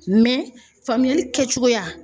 Mɛ faamuyali kɛcogoya